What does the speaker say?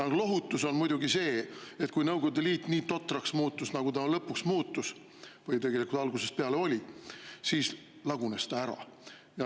Lohutus on muidugi see, et kui Nõukogude Liit nii totraks muutus, nagu ta lõpuks muutus või tegelikult algusest peale oli, siis lagunes ta ära.